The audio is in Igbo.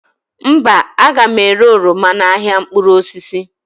mba, a ga m ere oroma m n’ahịa mkpụrụ osisi